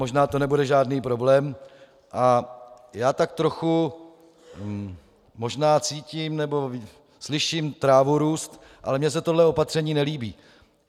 Možná to nebude žádný problém - a já tak trochu možná cítím, nebo slyším trávu růst, ale mně se tohle opatření nelíbí.